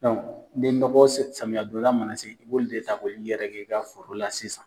ni nɔgɔ samiya don da mana se i' b'olu de ta k'olu yɛrɛkɛ' i ka foro la sisan.